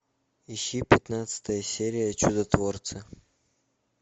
ищи пятнадцатая серия чудотворцы